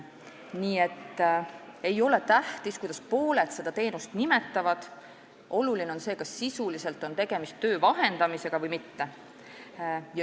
Niisiis ei ole tähtis, kuidas pooled teenust nimetavad, oluline on see, kas sisuliselt on tegemist töö vahendamisega või mitte.